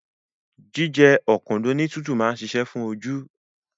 Jíjẹ ọ̀dùnkún ní tútù máa ń ṣiṣẹ́ fún oju